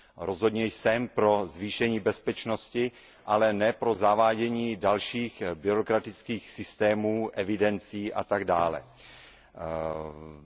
Rozhodně jsem pro zvýšení bezpečnosti, ale ne pro zavádění dalších byrokratických systémů, evidencí atd.